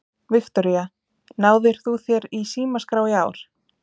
Viktoría: Náðir þú þér í símaskrá í ár?